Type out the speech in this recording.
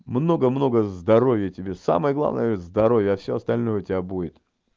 много много здоровья тебе самое главное здоровья а всё остальное у тебя будет